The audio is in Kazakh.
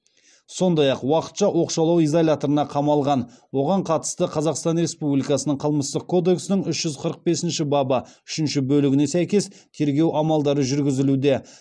сондай ақ уақытша оқшаулау изоляторына қамалған оған қатысты қазақстан республикасының қылмыстық кодексінің үш жүз қырық бесінші бабы үшінші бөлігіне сәйкес тергеу амалдары жүргізілуде